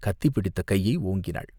கத்தி பிடித்த கையை ஓங்கினாள்.